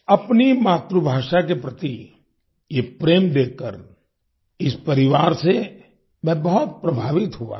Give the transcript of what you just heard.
अपनी मातृभाषा के प्रति ये प्रेम देखकर इस परिवार से मैं बहुत प्रभावित हुआ था